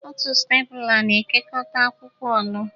Otu stepula na-ekekọta akwụkwọ ọnụ.